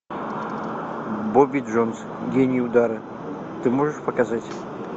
бобби джонс гений удара ты можешь показать